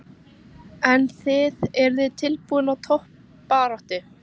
En þið, eruð þið tilbúin í toppbaráttu?